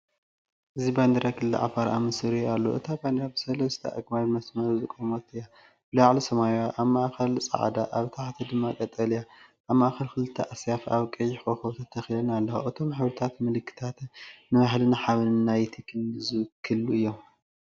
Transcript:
እዚ ባንዴራ ክልል ዓፋር ኣብ ምስሊ ይረአ ኣሎ። እታ ባንዴራ ብሰለስተ ኣግማድ መስመር ዝቖመት እያ፡ብላዕሊ ሰማያዊ፡ኣብ ማእከል ጻዕዳ፡ኣብ ታሕቲ ድማ ቀጠልያ። ኣብ ማእከል ክልተ ኣስያፍ ኣብ ቀይሕ ኮኾብ ተተኺለን ኣለዋ። እቶም ሕብርታትን ምልክታትን ንባህልንሓበንን ናይ’ቲ ክልል ዝውክሉ እዮም።